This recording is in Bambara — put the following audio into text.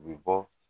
U bɛ bɔ